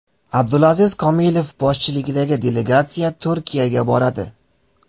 Abdulaziz Komilov boshchiligidagi delegatsiya Turkiyaga boradi.